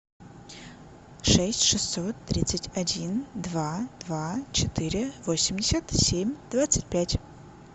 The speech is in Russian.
шесть шестьсот тридцать один два два четыре восемьдесят семь двадцать пять